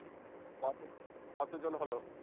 কতোজ~ কতজন হলো?